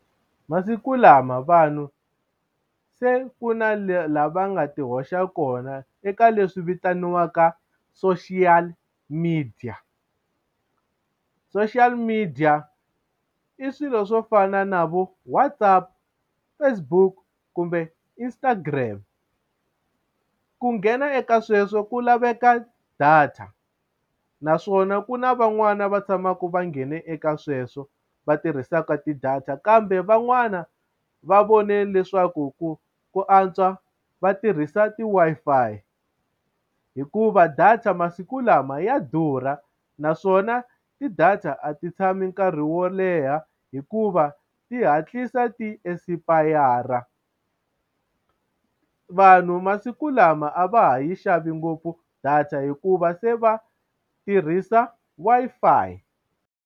Masiku lama vanhu se ku na lava nga ti hoxa kona eka leswi vitaniwaka social media social media i swilo swo fana na vo WhatsApp, Facebook kumbe Instagram ku nghena eka sweswo ku laveka data naswona ku na van'wani va tshamaka va nghene eka sweswo va tirhisaka ti-data kambe van'wana va vone leswaku ku ku antswa va tirhisa ti-Wi-Fi hikuva data masiku lama ya durha naswona ti-data a ti tshami nkarhi wo leha hikuva ti hatlisa ti-expire vanhu masiku lama a va ha yi xavi ngopfu data hikuva se va tirhisa Wi-Fi.